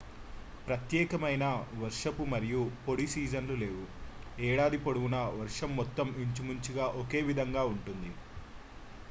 "ప్రత్యేకమైన "వర్షపు" మరియు "పొడి" సీజన్లు లేవు: ఏడాది పొడవునా వర్షం మొత్తం ఇంచుమించుగా ఒకే విధంగా ఉంటుంది.